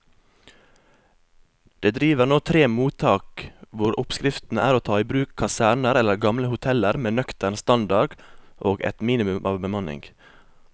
Det driver nå tre mottak hvor oppskriften er å ta i bruk kaserner eller gamle hoteller med nøktern standard og et minimum av bemanning.